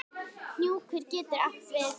Hnjúkur getur átt við